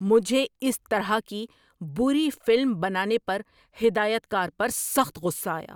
مجھے اس طرح کی بری فلم بنانے پر ہدایت کار پر سخت غصہ آیا۔